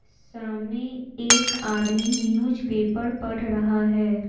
सामने एक आदमी न्यूज़ पेपर पढ़ रहा है।